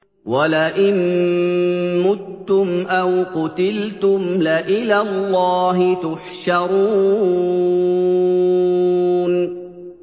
وَلَئِن مُّتُّمْ أَوْ قُتِلْتُمْ لَإِلَى اللَّهِ تُحْشَرُونَ